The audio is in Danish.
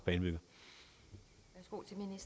men hvor